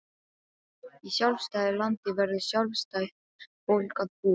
Í sjálfstæðu landi verður sjálfstætt fólk að búa.